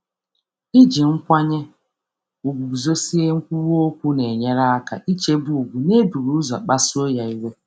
Idozi nkwụsi um ike na ịdị nwayọọ na-enyere aka ichebe ugwu na-enweghị ịkpasu iwe.